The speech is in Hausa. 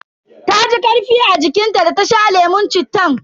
Taji karfi a jikin ta da ta sha lemun cittan.